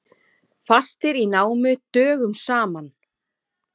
Fastir í námu dögum saman